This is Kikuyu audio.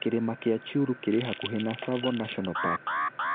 Kĩrĩma kĩa Chyulu kĩrĩ hakuhĩ na Tsavo National Park.